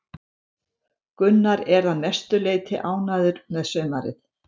Gunnar er að mestu leiti ánægður með sumarið.